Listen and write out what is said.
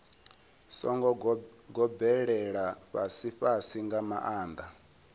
songo gobelela fhasifhasi nga maanḓa